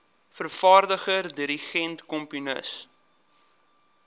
vervaardiger dirigent komponis